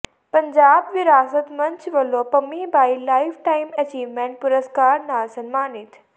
ਪੰਜਾਬ ਵਿਰਾਸਤ ਮੰਚ ਵੱਲੋਂ Pammi Bai lifetime achievement ਪੁਰਸਕਾਰ ਨਾਲ ਸਨਮਾਨਿਤ